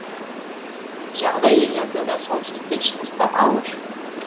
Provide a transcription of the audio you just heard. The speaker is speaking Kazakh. жағдай елордада солтүстік пен шығыста ауыр